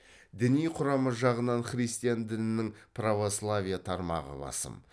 діни құрамы жағынан христиан дінінің православие тармағы басым